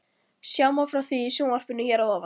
Sjá má frá því í sjónvarpinu hér að ofan.